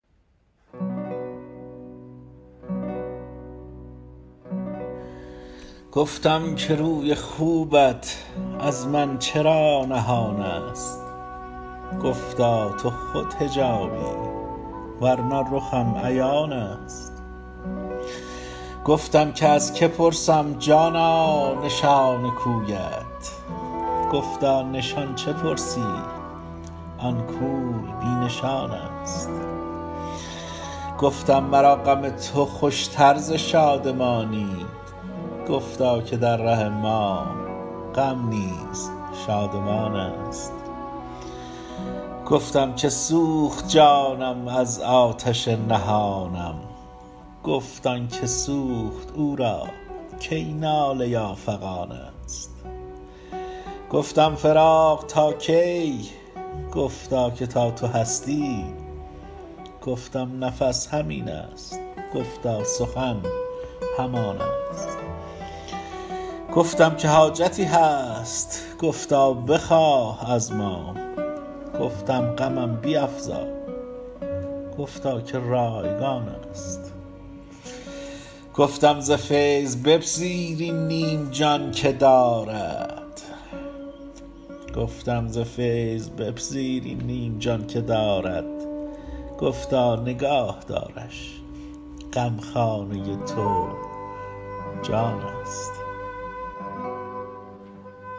گفتم که روی خوبت از من چرا نهان است گفتا تو خود حجابی ورنه رخم عیان است گفتم که از که پرسم جانا نشان کویت گفتا نشان چه پرسی آن کوی بی نشان است گفتم مرا غم تو خوش تر ز شادمانی گفتا که در ره ما غم نیز شادمان است گفتم که سوخت جانم از آتش نهانم گفت آن که سوخت او را کی ناله یا فغان است گفتم فراق تا کی گفتا که تا تو هستی گفتم نفس همین است گفتا سخن همان است گفتم که حاجتی هست گفتا بخواه از ما گفتم غمم بیفزا گفتا که رایگان است گفتم ز فیض بپذیر این نیم جان که دارد گفتا نگاه دارش غمخانه تو جان است